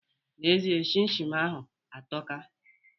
N'ezie, chin chin ahụ atọka